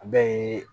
A bɛ